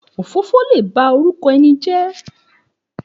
Òfófó lè ba orúkọ ẹni jẹ́